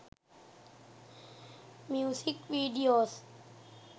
music videos